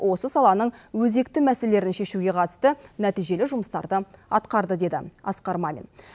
осы саланың өзекті мәселелерін шешуге қатысты нәтижелі жұмыстарды атқарды деді асқар мамин